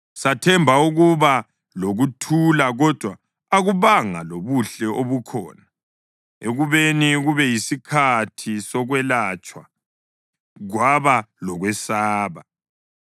Sathemba ukuba lokuthula kodwa akubanga lobuhle obukhona, ekubeni kube yisikhathi sokwelatshwa kwaba lokwesaba.